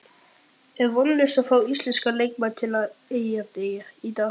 Er vonlaust að fá íslenska leikmenn til Eyja í dag?